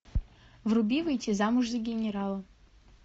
вруби выйти замуж за генерала